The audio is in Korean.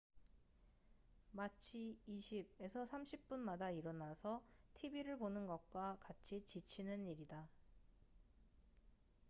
마치 20 - 30분 마다 일어나서 tv를 보는 것과 같이 지치는 일이다